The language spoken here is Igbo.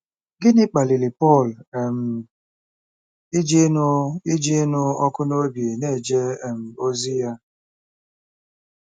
Gịnị kpaliri Pọl um iji ịnụ iji ịnụ ọkụ n'obi na-eje um ozi ya?